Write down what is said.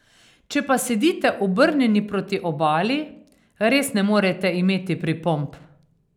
Če pa sedite obrnjeni proti obali, res ne morete imeti pripomb.